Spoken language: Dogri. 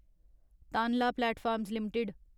Tanla platforms limited